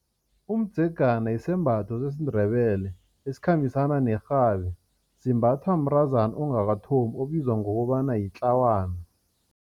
Umdzegana yisembatho sesiNdebele esikhambisana nerhabi. Simbathwa mntazana ongakathombi obizwa ngokobana litlawana.